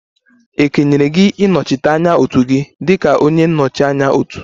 E kenyere gị ịnọchite anya otu gị dị ka onye nnọchi anya otu?